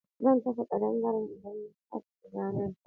Zan kashe kadangare idan ya sake shiga nan.